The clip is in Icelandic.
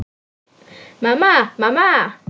Mamma, mamma.